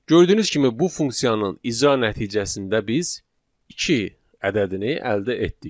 Gördüyünüz kimi bu funksiyanın icra nəticəsində biz iki ədədini əldə etdik.